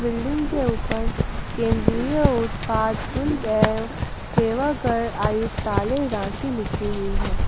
Building के ऊपर केंद्रीय उत्पाद शुल्क एवं सेवा कर आयुक्तालय रांची लिखी हुई है।